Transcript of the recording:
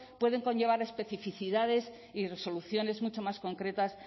pueden conllevar a especificidades y resoluciones mucho más concretas